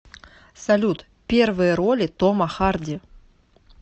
салют первые роли тома харди